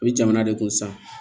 O bɛ jamana de kun sa